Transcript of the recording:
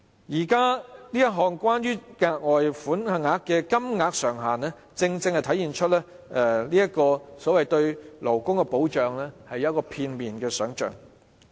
現時有關額外款項的上限，正正體現出政府對勞工的保障只是片面想象。